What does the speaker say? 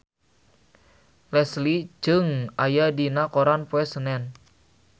Leslie Cheung aya dina koran poe Senen